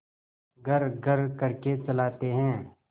घर्रघर्र करके चलाते हैं